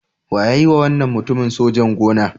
Wa ya yiwa wannan mutumin sojan-gona?